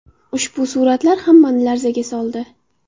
Ushbu suratlar hammani larzaga soldi.